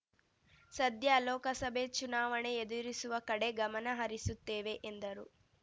ಸದ್ಯ ಲೋಕಸಭೆ ಚುನಾವಣೆ ಎದುರಿಸುವ ಕಡೆ ಗಮನ ಹರಿಸುತ್ತೇವೆ ಎಂದರು